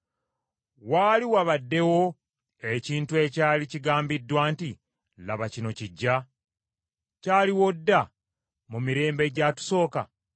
Waali wabaddewo ekintu ekyali kigambiddwa nti, “Laba kino kiggya”? Kyaliwo dda mu mirembe egyatusooka?